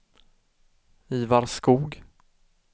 Ivar Skog